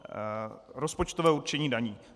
Rozpočtové určení daní.